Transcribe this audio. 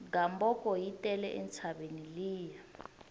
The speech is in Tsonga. gamboko yi tele entshaveni liya